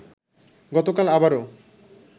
গতকাল আবারও